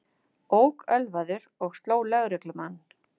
Ók ölvaður og sló lögreglumenn